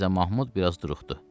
Mirzə Mahmud biraz duruxdu.